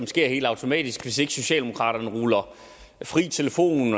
sker helt automatisk hvis ikke socialdemokraterne ruller fri telefon